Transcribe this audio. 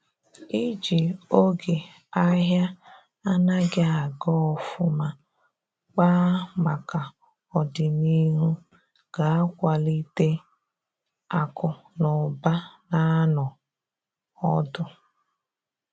iji oge ahia anaghi aga ofuma kpaa maka ọdịnihu ga akwalite akụ na ụba na anọ ọdụ